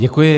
Děkuji.